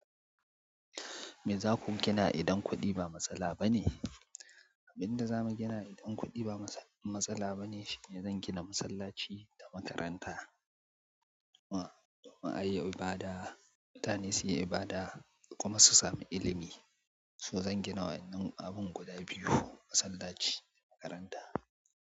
Me za ku gina idan kuɗi ba matsala ba ne? Abin da za mu gina idan kuɗi ba matsala ba ne shine zan gina masallaci da makaranta. Ma'ayi ibada, mutane suyi ibada kuma su sami ilimi. To zan gina wannan abin guda biyu, masallaci da makaranta.